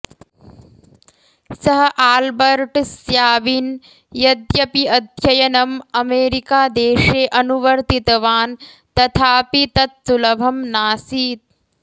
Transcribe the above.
सः Albert Sabin यद्यपि अध्ययनम् अमेरिकादेशे अनुवर्तितवान् तथापि तत् सुलभं नासीत्